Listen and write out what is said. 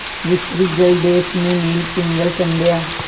विस्तृत जलदेश में नील पिंगल संध्या